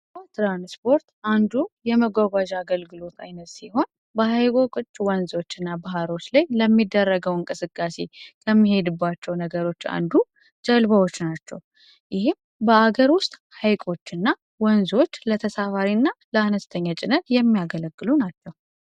የዉሃ ትራንስፖርት አንዱ የመጓጓዣ አይነት ሲሆን በሀይቆች ፣ወንዞች እና ዳርቻወች ለሚደረገው እንቅስቃሴ ከምንሄድባቸው ነገሮች አንዱ ጀልባዎች ናቸው። ይህም በሀገር ውስጥ ሀይቆች እና ወንዞች ለተሳፋሪ እና ለአነስተኛ ጭነት የሚያገለግሉ ናቸው።